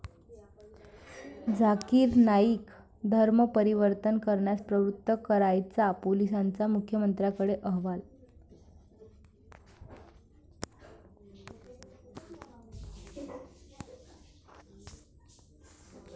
झाकिर नाईक धर्म परिवर्तन करण्यास प्रवृत्त करायचा, पोलिसांचा मुख्यमंत्र्यांकडे अहवाल